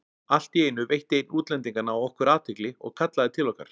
Allt í einu veitti einn útlendinganna okkur athygli og kallaði til okkar.